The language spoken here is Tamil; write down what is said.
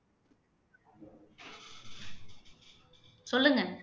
சொல்லுங்க